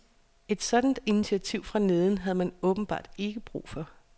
Et sådant initiativ fra neden havde man åbenbart ikke brug for.